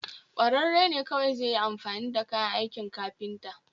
kwararre ne kawai zai yi amfani da kayan aikin kafinta